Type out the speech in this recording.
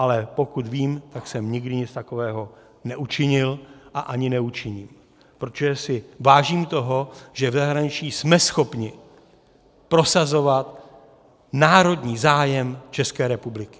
Ale pokud vím, tak jsem nikdy nic takového neučinil a ani neučiním, protože si vážím toho, že v zahraničí jsme schopni prosazovat národní zájem České republiky.